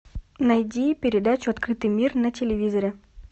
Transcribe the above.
найди передачу открытый мир на телевизоре